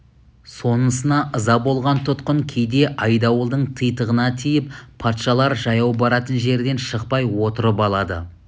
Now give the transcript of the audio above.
сонысына ыза болған тұтқын кейде айдауылдың титығына тиіп патшалар жаяу баратын жерден шықпай отырып алады